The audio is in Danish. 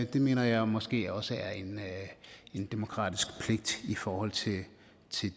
det mener jeg måske også er en demokratisk pligt i forhold til